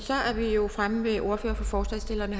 fremme ved ordføreren for forslagsstillerne